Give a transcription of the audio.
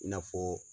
I n'a fɔ